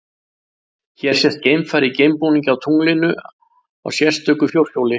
Hér sést geimfari í geimbúningi á tunglinu á sérstöku fjórhjóli.